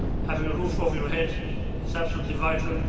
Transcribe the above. Having a roof over your head is absolutely vital